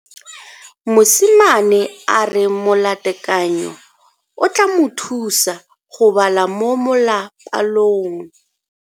Mosimane a re molatekanyô o tla mo thusa go bala mo molapalong.